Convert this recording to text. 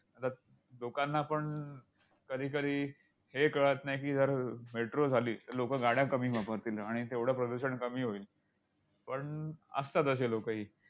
लोकांना पण कधीकधी हे कळत नाही की, जर metro झाली, तर लोकं गाड्या कमी वापरतील आणि तेवढं प्रदूषण कमी होईल. पण, असतात अशी लोकही.